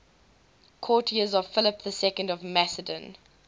courtiers of philip ii of macedon